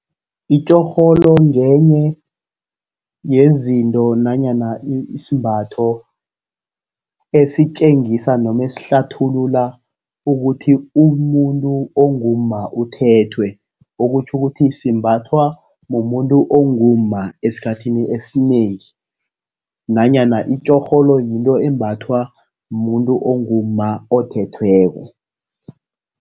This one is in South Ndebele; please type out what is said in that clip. Itjorholo ngenye yezinto nanyana isembatho esitjengisa noma esihlathulula ukuthi umuntu ongumma uthethwe, okutjho ukuthi simbathwa mumuntu ongumma esikhathini esinengi, nanyana itjorholo yinto embathwa mumuntu ongumma othethweko.